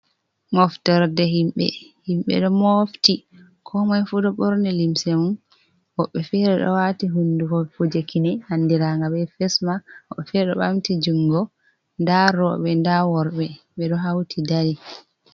Moftorde himɓe: Himɓe ɗo mofti komoi fu ɗo ɓorni limse mun. Woɓɓe fere ɗo wati hundugo kuje kine andiraga be fes mak, woɓɓe fere ɗo ɓamti jungo, nda roɓe, nda worɓe ɓeɗo hauti dari.